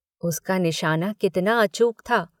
उसका निशाना कितना अचूक था।